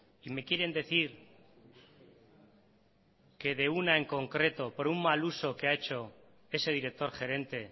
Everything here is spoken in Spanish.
y me quieren decir que de una en concreto por un mal uso que ha hecho ese director gerente